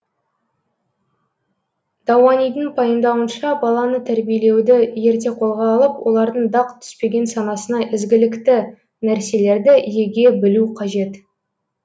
дауанидың пайымдауынша баланы тәрбиелеуді ерте қолға алып олардың дақ түспеген санасына ізгілікті нәрселерді еге білу қажет